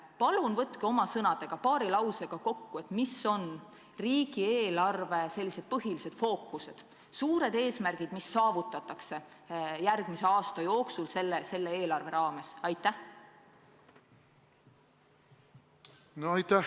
Palun võtke oma sõnadega paari lausega kokku riigieelarve põhilised fookused, suured eesmärgid, mis saavutatakse järgmise aasta jooksul selle eelarve abil!